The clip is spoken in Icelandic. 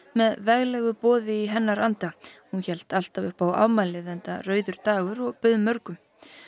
með veglegu boði í hennar anda hún hélt alltaf upp á afmælið enda rauður dagur og bauð mörgum